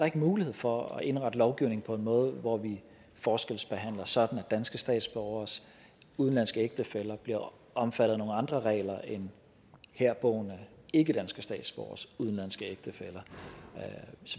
ikke mulighed for at indrette lovgivning på en måde hvor vi forskelsbehandler sådan at danske statsborgeres udenlandske ægtefæller bliver omfattet af nogle andre regler end herboende ikkedanske statsborgeres udenlandske ægtefæller